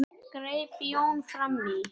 greip Jón fram í.